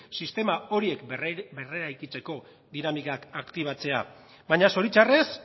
sistema horiek berreraikitzeko dinamikak aktibatzea baina zoritxarrez